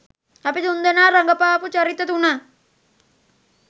අපි තුන්දෙනා රඟපාපු චරිත තුන